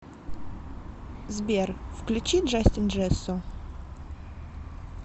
сбер включи джастин джессо